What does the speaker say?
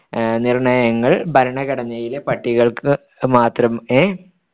അഹ് നിർണയങ്ങൾ ഭരണഘടനയിലെ പട്ടികകൾക്ക് മാത്രം ഏഹ്